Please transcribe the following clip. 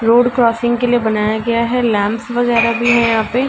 Road crossing के लिए बनाया गया है। लैम्प्स वगैरह भी है यहाँ पे --